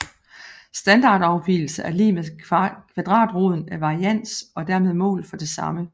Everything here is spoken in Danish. Standardafvigelse er lig med kvadratroden af varians og er dermed mål for det samme